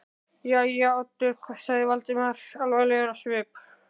Jæja, Oddur sagði Valdimar alvarlegur á svip.